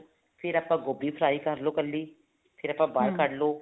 ਫ਼ੇਰ ਆਪਾਂ ਗੋਭੀ fry ਕਰਲੋ ਇੱਕਲੀ ਫ਼ੇਰ ਆਪਾਂ ਬਹਾਰ ਕੱਢ ਲਵੋ